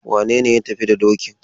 Wane ne ya tafi da dokin?